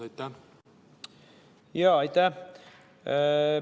Aitäh!